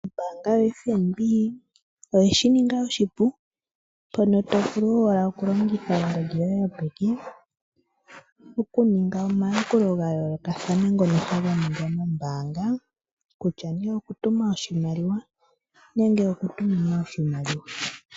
Ombaanga yo FNB oyeshi ninga oshipu mpono to vulu owala oku longitha ongodhi yoye yopeke okuninga omayakulo ga yoolokathana ngono taga adhika ombaanga, kutya nee oku tuma oshimaliwa nenge oku tuminwa oshimaliwa